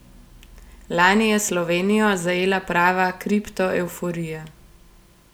Lani je Slovenijo zajela prava kriptoevforija.